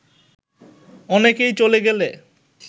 অনেকেই চলে গেলে